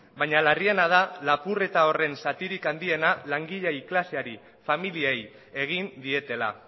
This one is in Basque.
baina larriena da lapurreta horren zatirik handiena langile klaseari familiei egin dietela